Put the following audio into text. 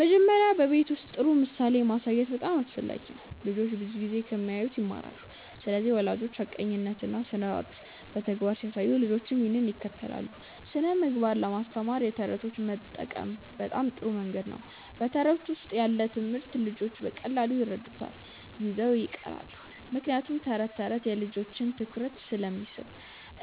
መጀመሪያ በቤት ውስጥ ጥሩ ምሳሌ ማሳየት በጣም አስፈላጊ ነው። ልጆች ብዙ ጊዜ ከሚያዩት ይማራሉ ስለዚህ ወላጆች ሐቀኛነትን እና ስርዓትን በተግባር ሲያሳዩ ልጆችም ያንን ይከተላሉ። ስነ ምግባር ለማስተማር የተረቶች መጠቀም በጣም ጥሩ መንገድ ነው በተረት ውስጥ ያለ ትምህርት ልጆች በቀላሉ ይረዱታል እና ይዘው ይቀራሉ ምክንያቱም ተረት ተረት የልጆችን ትኩረት ስለሚስብ።